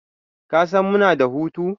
Kasan muna da hutu?